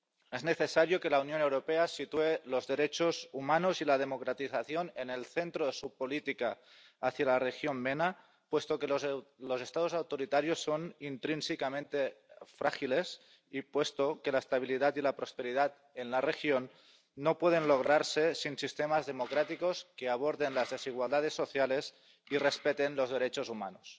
Es necesario que la Unión Europea sitúe los derechos humanos y la democratización en el centro de su política hacia la región MENA, puesto que los Estados autoritarios son intrínsecamente frágiles y puesto que la estabilidad y la prosperidad en la región no pueden lograrse sin sistemas democráticos que aborden las desigualdades sociales y respeten los derechos humanos.